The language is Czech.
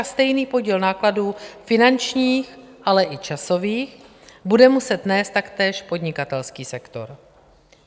A stejný podíl nákladů finančních, ale i časových bude muset nést taktéž podnikatelský sektor.